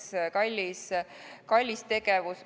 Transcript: See on kallis tegevus.